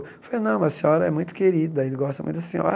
Eu falei, não, mas a senhora é muito querida, ele gosta muito da senhora.